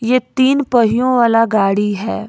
ये तीन पहियों वाला गाड़ी है।